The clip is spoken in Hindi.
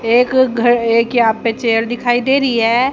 एक घ एक यहां पे चेयर दिखाई दे रही है।